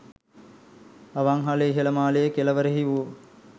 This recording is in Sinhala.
අවන්හලේ ඉහළ මාලයේ කෙළවරෙහි වූ